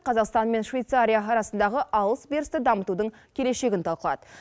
қазақстан мен швейцария арасындағы алыс берісті дамытудың келешегін талқылады